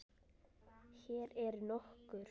Hér eru nokkur